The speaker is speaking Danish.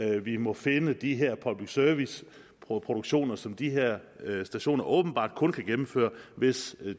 vi må finde de her public service produktioner som de her personer åbenbart kun kan gennemføre hvis